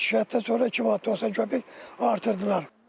Şikayətdən sonra 2 manat 90 qəpik artırdılar.